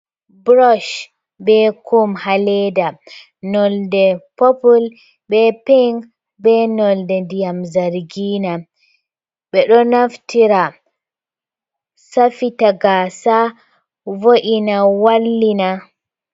Burosh be kum ha leda nolde popul be pinc be nolde diyam zargina, ɓe ɗo naftira safita gasa, vo’ina, wallina.